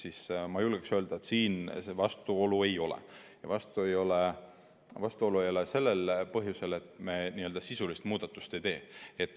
Aga ma julgen öelda, et siin vastuolu ei ole ja vastuolu ei ole sellel põhjusel, et me sisulisi muudatusi ei tee.